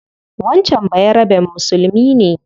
Wancan bayaraben musulmi ne